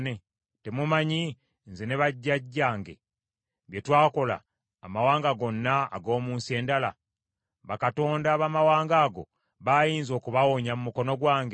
“ ‘Temumanyi, nze ne bajjajjange bye twakola amawanga gonna ag’omu nsi endala? Bakatonda abamawanga ago, baayinza okubawonya mu mukono gwange?